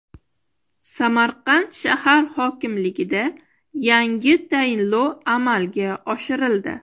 Samarqand shahar hokimligida yangi tayinlov amalga oshirildi.